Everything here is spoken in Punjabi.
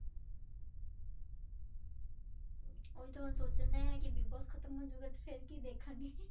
ਉਹੀ ਤੇ ਹੁਣ ਸੋਚਣ ਡਿਆ ਕਿ ਬਿਗ ਬੋਸ ਖਤਮ ਹੋ ਜਾਊਗਾ ਤੇ ਫਿਰ ਕੀ ਦੇਖਾਂਗੇ